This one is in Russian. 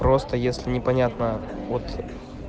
просто если непонятно вот